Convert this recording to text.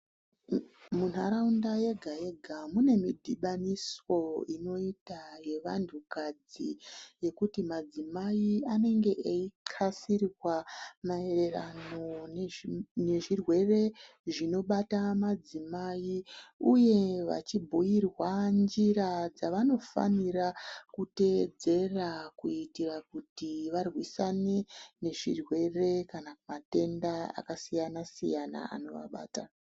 Muntaraunda yega-yega mune midhibaniso inoita yevantukadzi yekuti madzimai anenge eikxasirwa maererano nezvirwere zvinobata madzimai, uye vachibhuirwa nzira dzavanofanira kutedzera kuira kuti varwisane nezvirwere kana matenda akasiyana-siyana anovabata.